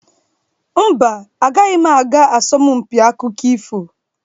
Mba, agaghị m aga asọmpiakụkọ ifo.